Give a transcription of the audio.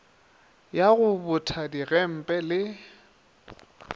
ya go botha digempe le